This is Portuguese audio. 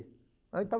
lá em